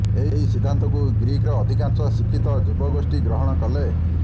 ଏହି ସିଦ୍ଧାନ୍ତକୁ ଗ୍ରୀକ୍ର ଅଧିକାଂଶ ଶିକ୍ଷିତ ଯୁବଗୋଷ୍ଠୀ ଗ୍ରହଣ କଲେ